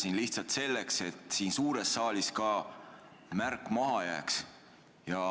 Küsin lihtsalt selleks, et siin suures saalis ka märk maha jääks.